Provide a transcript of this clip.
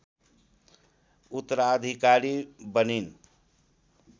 उत्तराधिकारी बनिन्